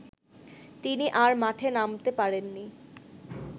তিনি আর মাঠে নামতে পারেননি